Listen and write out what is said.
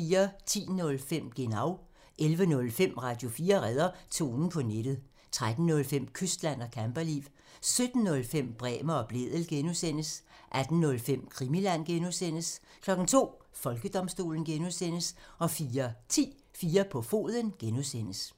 10:05: Genau (tir) 11:05: Radio4 redder tonen på nettet 13:05: Kystland og camperliv 17:05: Bremer og Blædel (G) 18:05: Krimiland (G) (tir) 02:00: Folkedomstolen (G) 04:10: 4 på foden (G) (tir)